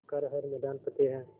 कर हर मैदान फ़तेह